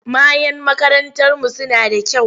Mayan makarantarmu suna da kyau.